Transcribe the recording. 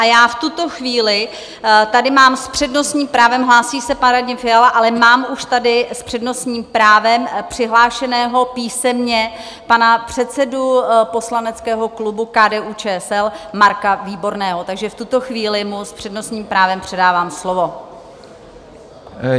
A já v tuto chvíli tady mám s přednostním právem - hlásí se pan Radim Fiala, ale mám už tady s přednostním právem přihlášeného písemně pana předsedu poslaneckého klubu KDU-ČSL Marka Výborného, takže v tuto chvíli mu s přednostním právem předávám slovo.